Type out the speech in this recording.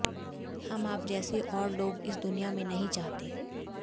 हम आप जैसे और लोग इस दुनिया में नहीं चाहते